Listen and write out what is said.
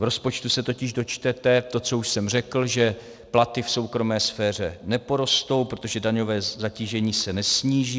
V rozpočtu se totiž dočtete to, co už jsem řekl, že platy v soukromé sféře neporostou, protože daňové zatížení se nesníží.